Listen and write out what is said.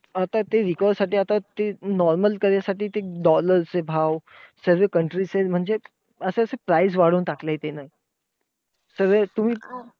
आता ते recover साठी normal करण्यासाठी आता ते dollar चे भाव सर्वे ते countryside म्हणजे असे असे price वाढवून टाकले आहेत त्यानं. सर्वे तुम्ही